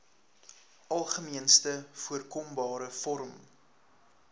algemeenste voorkombare vorm